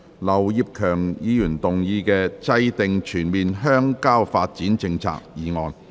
劉業強議員動議的"制訂全面鄉郊發展政策"議案。